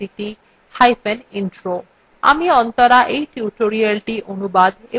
আমি অন্তরা এই tutorialটি অনুবাদ এবং রেকর্ড করেছি